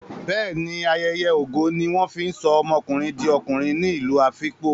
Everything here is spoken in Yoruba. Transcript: Bẹ́ẹ̀ ní, ayeye ogo ní wọ́n fi ń sọ ọmọkùnrin di okùnrin ní ìlú Afikpo.